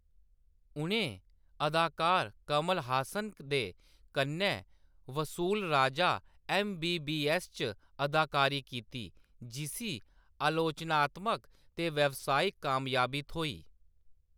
उʼनें अदाकार कमल हासन दे कन्नै Vasool Raja M. B. B. S. च अदाकारी कीती, जिसी आलोचनात्मक ते व्यावसायिक कामयाबी थ्होई।